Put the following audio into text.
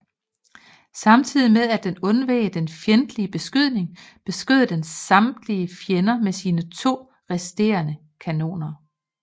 Samtidig med at den undveg den fjendtlige beskydning beskød den samtidig fjenden med sine to resterende kanoner